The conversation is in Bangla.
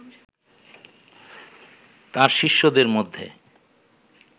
তাঁর শিষ্যদের মধ্যে